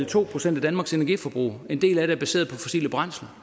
to procent af danmarks energiforbrug og en del af det er baseret på fossile brændsler